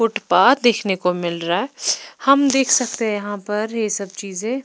footpath देखने को मिल रहा है हम देख सकते हैं यहां पर ये सब चीजें--